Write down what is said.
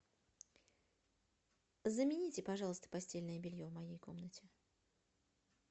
замените пожалуйста постельное белье в моей комнате